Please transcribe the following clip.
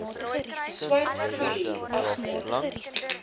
swart foelie agter